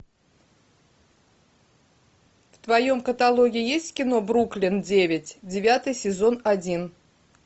в твоем каталоге есть кино бруклин девять девятый сезон один